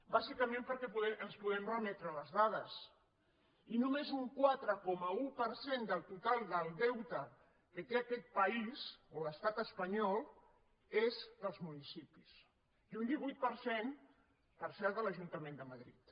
bàsicament perquè ens podem remetre a les dades i només un quatre coma un per cent del total del deute que té aquest país o l’estat espanyol és dels municipis i un divuit per cent per cert de l’ajuntament de madrid